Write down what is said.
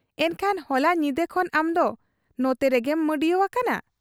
ᱮᱱᱠᱷᱟᱱ ᱦᱚᱞᱟ ᱧᱤᱫᱟᱹ ᱠᱷᱚᱱ ᱟᱢᱫᱚ ᱱᱚᱛᱮᱨᱮᱜᱮᱢ ᱢᱟᱺᱰᱤᱭᱟᱹᱣ ᱟᱠᱟᱱᱟ ?